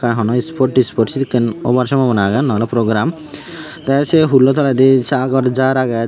na honw spot tispot sedekken obar sombona agey nw oley program tey sei hullo toledi sagor jaar agey jar.